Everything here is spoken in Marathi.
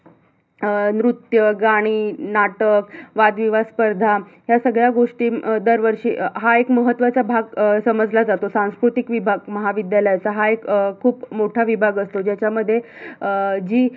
अं नृत्य, गाणी, नाटक, वाद-विवाद स्पर्धा या सगळ्या गोष्टी अं दरवर्षी अं हा एक महत्त्वाचा भाग समजला जातो सांस्कृतिक विभाग महाविद्यालयाचा हा एक अं खूप मोठा विभाग असतो ज्याच्यामध्ये अं जी